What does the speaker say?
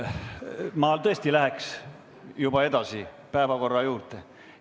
Mina tõesti läheks juba päevakorra juurde.